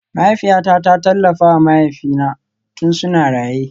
Mahaifiyata ta tallafa wa mahaifina tun suna raye